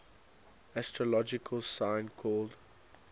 astrological sign called